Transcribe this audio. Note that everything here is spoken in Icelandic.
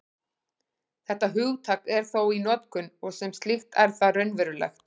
Þetta hugtak er þó í notkun, og sem slíkt er það raunverulegt.